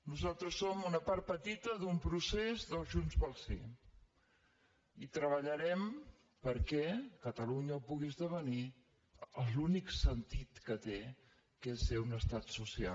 nosaltres som una part petita d’un procés del junts pel sí i treballarem perquè catalunya pugui esdevenir l’únic sentit que té que és ser un estat social